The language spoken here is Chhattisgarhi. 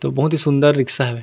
तो बहुत ही सुन्दर रिक्सा है ।